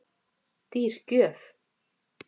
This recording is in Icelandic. Dýr gjöf